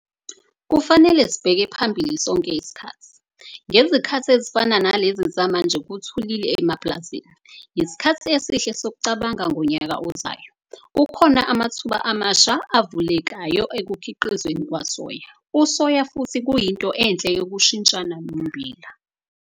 Kufanele sibheke phambili sonke isikhathi - ngezikhathi ezifana nalezi zamanje kuthulile emapulazini, yisikhathi esihle sokucabanga ngonyaka ozayo. Kukhona amathuba amasha avulekayo ekukhiqisweni kwasoya - usoya futhi kuyinto enhle yokushintshana nommbila.